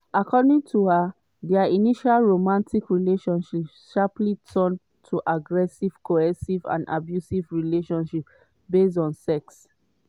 according to her dia initial romantic relationship "sharply turn to aggressive coercive and abusive relationship based on sex".